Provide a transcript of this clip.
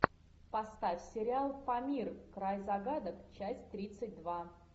поставь сериал памир край загадок часть тридцать два